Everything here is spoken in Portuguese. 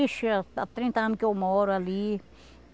Ixi, há trinta anos que eu moro ali.